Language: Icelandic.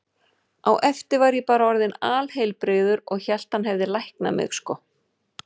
Á eftir var ég bara orðinn alheilbrigður og hélt að hann hefði læknað mig, sko.